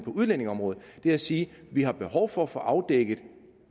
udlændingeområdet er at sige at vi har behov for at få afdækket